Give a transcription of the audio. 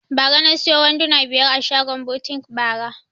Na siyo wanduna biyar a shagon butik bara